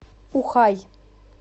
ухай